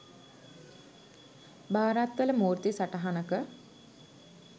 භාරත්වල මූර්ති සටහනක